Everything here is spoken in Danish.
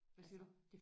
Hvad siger du?